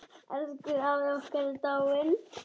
Elsku afi okkar er dáinn.